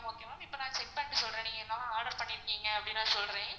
okay ma'am இப்போ நான் check பண்ணிட்டு சொல்றன் நீங்க என்ன order பண்ணிருகீங்க அப்படின்னு நான் சொல்றன்.